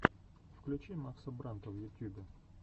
включи макса брандта в ютюбе